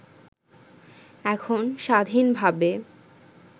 এখণ স্বাধীনভাবে